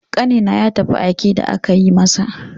Ƙanina ya tafi aike da aka yi masa.